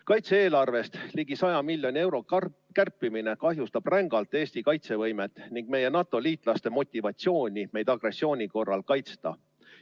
Kaitse-eelarvest ligi 100 miljoni euro kärpimine kahjustab rängalt Eesti kaitsevõimet ning meie NATO‑liitlaste motivatsiooni meid agressiooni korral kaitsta.